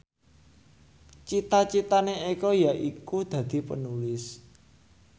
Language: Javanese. cita citane Eko yaiku dadi Penulis